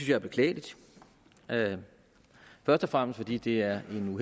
jeg er beklageligt først og fremmest fordi det er